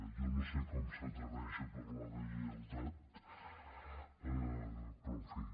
jo no sé com s’atreveix a parlar de lleialtat però en fi